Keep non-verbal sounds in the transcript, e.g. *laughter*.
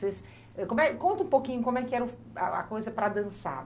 *unintelligible* Como é conta pouquinho como é que era a coisa para dançar.